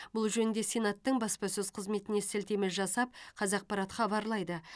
бұл жөнінде сенаттың баспасөз қызметіне сілтеме жасап қазақпарат хабарлайды